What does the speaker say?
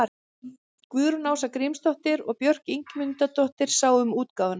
Guðrún Ása Grímsdóttir og Björk Ingimundardóttir sáu um útgáfuna.